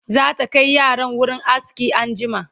zata Kai yaran wurin aski anjima